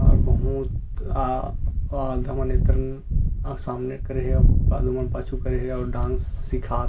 आ बहुत आ आधा मने तन अ सामने करे हे बाद मा पाछू करे हे अउ डांस सिखात --